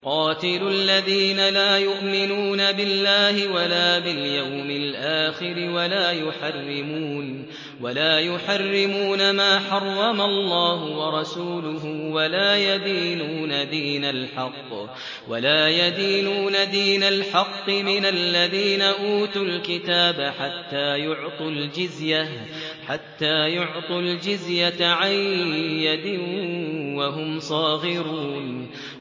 قَاتِلُوا الَّذِينَ لَا يُؤْمِنُونَ بِاللَّهِ وَلَا بِالْيَوْمِ الْآخِرِ وَلَا يُحَرِّمُونَ مَا حَرَّمَ اللَّهُ وَرَسُولُهُ وَلَا يَدِينُونَ دِينَ الْحَقِّ مِنَ الَّذِينَ أُوتُوا الْكِتَابَ حَتَّىٰ يُعْطُوا الْجِزْيَةَ عَن يَدٍ وَهُمْ صَاغِرُونَ